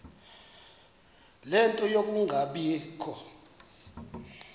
ie nto yokungabikho